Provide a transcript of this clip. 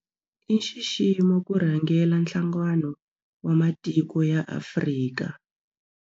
I nxiximo ku rhangela Nhlangano wa Matiko ya Afrika.